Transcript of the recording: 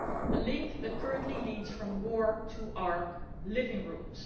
a link that currently leads from war to our living rooms.